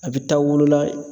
A bi taa wolo la